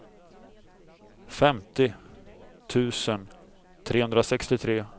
femtio tusen trehundrasextiotre